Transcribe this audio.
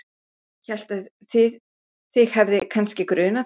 Hélt að þig hefði kannski grunað þetta.